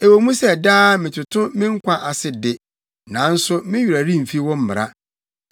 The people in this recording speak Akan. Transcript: Ɛwɔ mu sɛ daa metoto me nkwa ase de, nanso me werɛ remfi wo mmara.